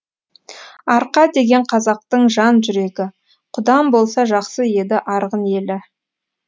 арқа деген қазақтың жан жүрегі құдам болса жақсы еді арғын елі